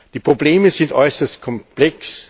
Die Probleme sind äußerst komplex.